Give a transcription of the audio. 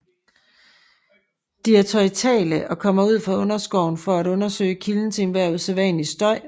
De er territoriale og kommer ud fra underskoven for at undersøge kilden til enhver usædvanlig støj